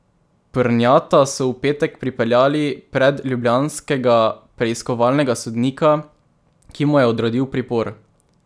Prnjata so v petek pripeljali pred ljubljanskega preiskovalnega sodnika, ki mu je odredil pripor.